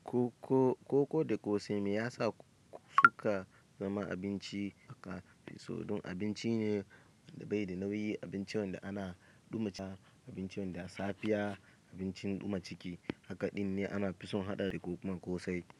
Ko, ko, koko da ƙosai me yasa suka zama abinci haka? Fiso don abinci ne da bai da nauyi, abincin da ana duma ciki, abincin da ya safiya, abincin duma ciki. Hakaɗin ne ana fison haɗa da koko da ƙosai.